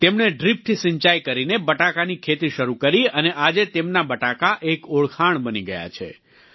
તેમણે ડ્રીપથી સિંચાઈ કરીને બટાકાની ખેતી શરૂ કરી અને આજે તેમના બટાકા એક ઓળખાણ બની ગયા છે